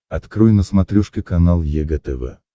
открой на смотрешке канал егэ тв